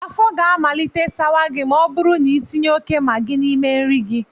Afọ ga amalite sawa gị ma ọ bụrụ na ị tinye óké Magị n'ime nri gị